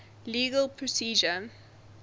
legal procedure